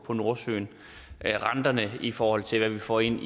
fra nordsøen renterne i forhold til hvad vi får ind